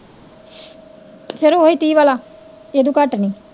ਫੇਰ ਓਹੀ ਤੀਹ ਵਾਲਾ ਇਹਦੂ ਘੱਟ ਨੀ